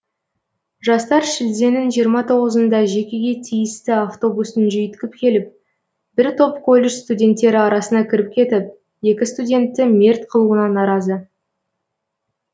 жастар шілденің жиырма тоғызында жекеге тиісті автобустың жүйткіп келіп бір топ колледж студенттері арасына кіріп кетіп екі студентті мерт қылуына наразы